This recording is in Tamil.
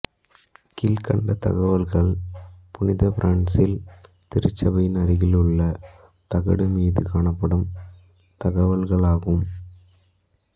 கீழ்கண்ட தகவல்கள் புனித பிரான்சிஸ் திருச்சபையின் அருகில் உள்ள தகடு மீது காணப்படும் தகவல்களாகும்